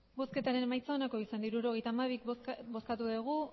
hirurogeita hamabi eman dugu